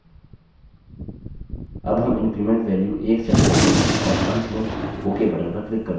अब हम increment value 1सेट करते हैं और अंत में ok button पर click करते हैं